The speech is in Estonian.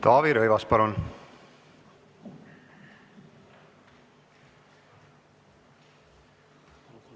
Taavi Rõivas, palun!